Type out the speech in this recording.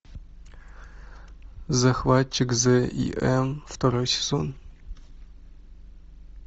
захватчик зим второй сезон